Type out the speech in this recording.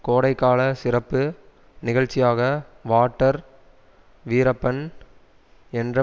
கோடைகால சிறப்பு நிகழ்ச்சியாக வாட்டர் வீரப்பன் என்ற